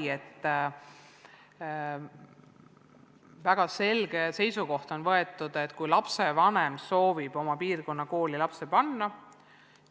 On võetud väga selge seisukoht, et kui lapsevanem soovib lapse oma piirkonna kooli panna,